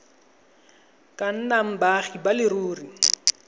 ka nnang baagi ba leruri